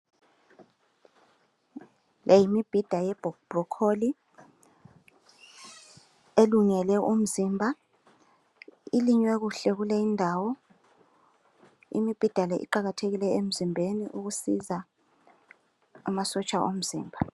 Leyi yimbhida ye bronchol elungele umzimba elinywe kuhle kule indawo imbhida le iqakathekile emzimbeni ukusiza amasotsha omzimba